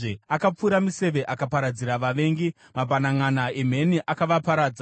Akapfura miseve akaparadzira vavengi, mabhananʼana emheni akavaparadza.